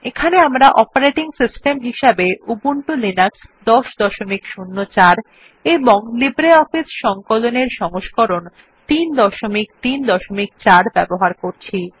এখানে আমরা operating system হিসেবে উবুন্টু লিনাক্স ১০০৪ এবং লিব্রিঅফিস সংকলন এর সংস্করণ ৩৩৪ ব্যবহার করছি